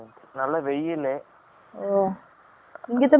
ஒஹ்! இங்கத்த மாரி இல்ல்யா climate டு